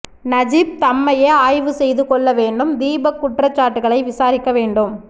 Najib தம்மையே ஆய்வு செய்து கொள்ள வேண்டும் தீபக் குற்றச்சாட்டுக்களை விசாரிக்க வேண்டும்